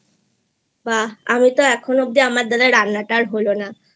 বাহ! আমি তো এখনো অব্দি আমার দ্বারা রান্নাটা আর হল নাI